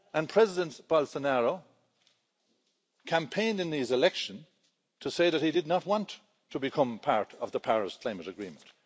President Bolsonaro campaigned in his election to say that he did not want to become part of the Paris Climate Agreement.